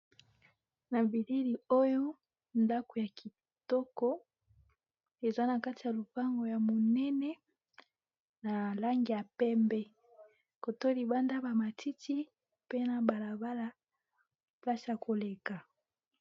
Na Bilili oyo ndako ya kitoko eza na kati ya lopango ya monene na langi ya pembe kotoyo libanda bamatiti mpena balabala place ya koleka.